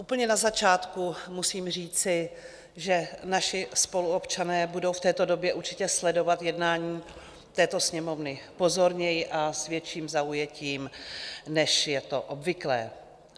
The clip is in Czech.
Úplně na začátku musím říci, že naši spoluobčané budou v této době určitě sledovat jednání této Sněmovny pozorněji a s větším zaujetím, než je to obvyklé.